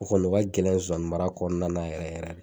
O kɔni o ka gɛlɛn nsonsani mara kɔɔna na yɛrɛ yɛrɛ